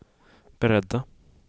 beredda